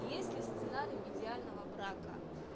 если сценарий идеального брака